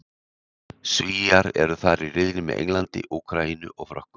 Svíar eru þar í riðli með Englandi, Úkraínu og Frökkum.